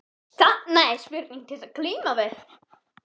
Þarna er spurning til að glíma við.